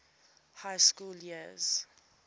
high school years